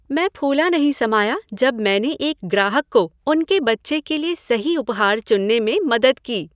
मैं फूला नहीं समाया जब मैंने एक ग्राहक को उनके बच्चे के लिए सही उपहार चुनने में मदद की।